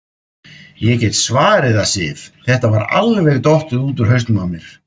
Ég get svarið það, Sif, þetta var alveg dottið út úr hausnum á mér.